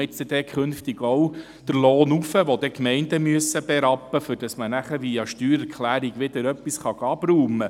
Wird dort künftig auch der Lohn erhöht, den die Gemeinden berappen müssen, um via Steuererklärung wieder etwas abzuräumen?